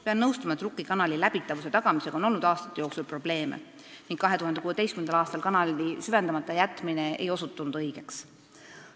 " Pean nõustuma, et Rukki kanali läbitavuse tagamisega on olnud aastate jooksul probleeme ning 2016. aastal kanali süvendamata jätmine ei osutunud õigeks.